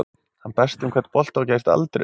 Hann berst um hvern bolta og gefst aldrei upp.